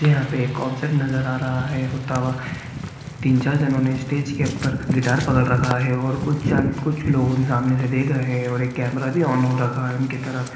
यहाँ पे एक कॉन्सर्ट नजर आ रहा है होता हुआ तीन चार जनों ने स्टेज के ऊपर गिटार पकड़ रखा है और कुछ जन कुछ लोगों सामने से देख रहे हैं और एक कैमरा भी ऑन हो रखा है उनकी तरफ।